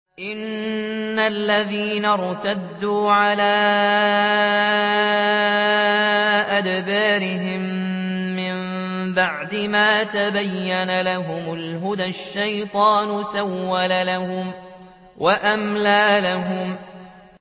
إِنَّ الَّذِينَ ارْتَدُّوا عَلَىٰ أَدْبَارِهِم مِّن بَعْدِ مَا تَبَيَّنَ لَهُمُ الْهُدَى ۙ الشَّيْطَانُ سَوَّلَ لَهُمْ وَأَمْلَىٰ لَهُمْ